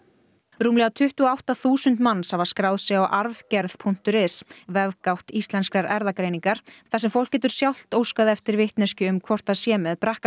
rúmlega tuttugu og átta þúsund manns hafa skráð sig á arfgerð punktur is vefgátt Íslenskrar erfðagreiningar þar sem fólk getur sjálft óskað eftir vitneskju um hvort það sé með